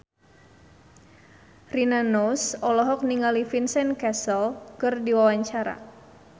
Rina Nose olohok ningali Vincent Cassel keur diwawancara